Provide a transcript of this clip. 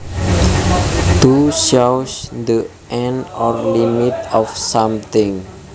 To shows the end or limit of something